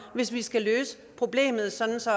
hvis vi skal løse problemet sådan så